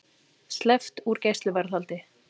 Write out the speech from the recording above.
Sleppt úr gæsluvarðhaldi